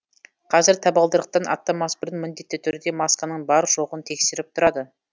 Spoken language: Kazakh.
қазір табалдырықтан аттамас бұрын міндетті түрде масканың бар жоғын тексеріп тұрады